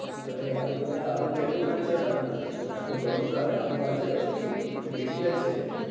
আরে আদু দাদা আরু কেমন আছে আপনার? এত গরমকালে আরু আছে তো ঠিক, কি পেকে গেছে।